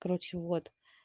короче вот